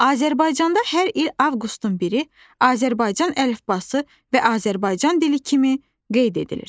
Azərbaycanda hər il avqustun biri Azərbaycan əlifbası və Azərbaycan dili kimi qeyd edilir.